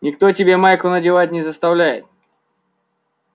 никто тебя майку надевать не заставляет